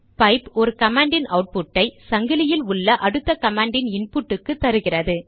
pipe ஒரு command இன் output ஐ சங்கிலியில் உள்ள அடுத்த கமாண்டின் இன்புட்டுக்கு தருகிறது